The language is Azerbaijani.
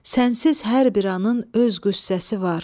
Sənsiz hər bir anın öz qüssəsi var.